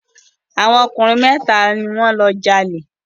Àwọn ọkùnrin mẹ́ta ni wọ́n lọ jalè.